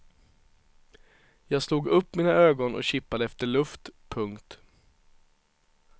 Jag slog upp mina ögon och kippade efter luft. punkt